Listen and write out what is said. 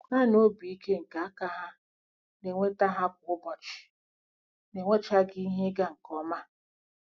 Naanị obi ike nke aka ha na-enweta ha kwa ụbọchị - na-enwechaghị ihe ịga nke ọma.